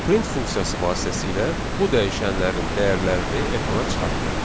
Print funksiyası vasitəsilə bu dəyişənlərin dəyərlərini ekrana çıxartdıq.